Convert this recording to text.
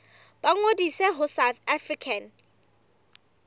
ba ngodise ho south african